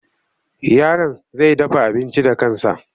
Yaron zai dafa abinci da kansa.